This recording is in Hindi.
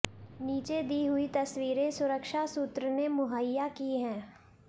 नीचे दी हुयी तस्वीरें सुरक्षा सूत्र ने मुहैया की हैं